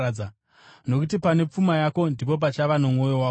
Nokuti pane pfuma yako, ndipo pachava nomwoyo wakowo.